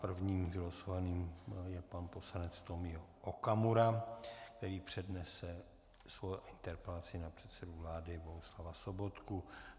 První vylosovaným je pan poslanec Tomio Okamura, který přednese svoji interpelaci na předsedu vlády Bohuslava Sobotku.